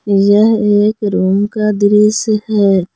यह एक रूम का दृश्य है।